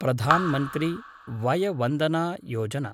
प्रधान् मन्त्री वय वन्दन योजना